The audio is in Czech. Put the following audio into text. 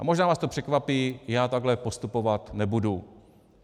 A možná vás to překvapí, já takhle postupovat nebudu.